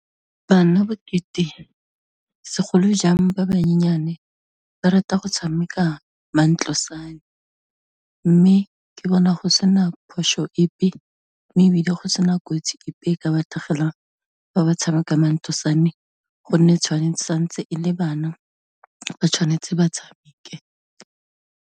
Bana bokete segolojang ba bonyenyane, ba rata go tshameka mantlosane mme ke bona go sena phoso epe, mme ebile go sena kotsi epe e ka ba tlhagelang fa ba tshameka mantlosane, gonne tshwanetse, santse e le bana ba tshwanetse batshameke.